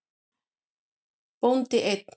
Bóndi einn.